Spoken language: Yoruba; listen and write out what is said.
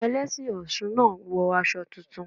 Àwọn Ẹlẹ́sìn Ọ̀ṣun náà wọ aṣọ tuntun.